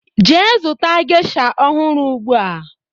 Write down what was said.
Jee zụta gesha ọhụrụ ugbua!